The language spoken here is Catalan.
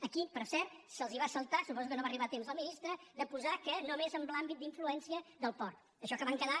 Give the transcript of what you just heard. aquí per cert se’ls va saltar suposo que no hi va arribar a temps el ministre de posar hi que només en l’àmbit d’influència del port això que van quedar